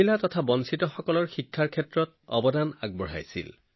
মহিলা আৰু অভাৱগ্ৰস্ত লোকৰ শিক্ষাৰ বাবে তেওঁ সদায় কণ্ঠস্বৰ আছিল